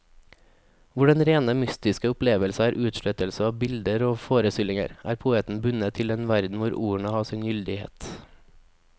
Hvor den rene mystiske opplevelse er utslettelse av alle bilder og forestillinger, er poeten bundet til den verden hvor ordene har sin gyldighet.